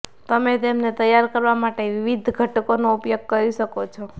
તમે તેમને તૈયાર કરવા માટે વિવિધ ઘટકોનો ઉપયોગ કરી શકો છો